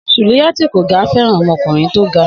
Sùlíyá tí kò ga fẹràn ọmọkùnrin tó ga